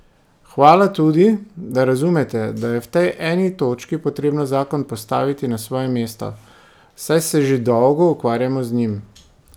Hvala tudi, da razumete, da je v eni točki potrebno zakon postaviti na svoje mesto, saj se že dolgo ukvarjamo z njim.